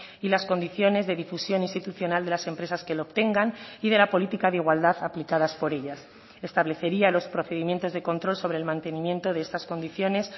y las condiciones de difusión institucional de las empresas que lo obtengan y de la política de igualdad aplicadas por ellas establecería los procedimientos de control sobre el mantenimiento de estas condiciones